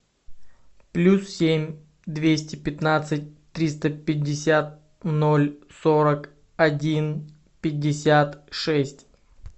плюс семь двести пятнадцать триста пятьдесят ноль сорок один пятьдесят шесть